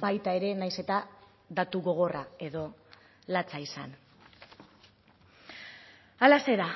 baita ere naiz eta datu gogorra edo latza izan halaxe da